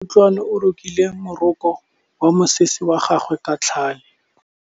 Kutlwanô o rokile morokô wa mosese wa gagwe ka tlhale.